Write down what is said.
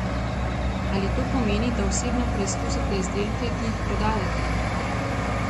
Ali to pomeni, da osebno preizkusite izdelke, ki jih prodajate?